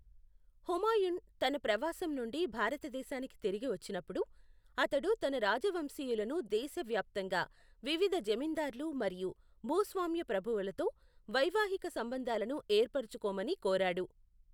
హుమాయూన్ తన ప్రవాసం నుండి భారతదేశానికి తిరిగి వచ్చినప్పుడు, అతడు తన రాజవంశీయులను దేశవ్యాప్తంగా వివిధ జమీందార్లు మరియు భూస్వామ్య ప్రభువులతో వైవాహిక సంబంధాలను ఏర్పరచుకోమని కోరాడు.